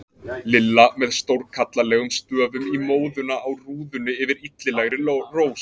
LILLA með stórkallalegum stöfum í móðuna á rúðunni yfir illilegri rós.